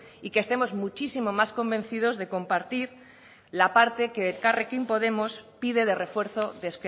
y que estemos muchísimo más convencidos de compartir la parte que elkarrekin podemos pide de refuerzo de